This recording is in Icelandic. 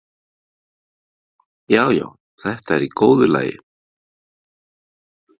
Já, já, þetta er í góðu lagi.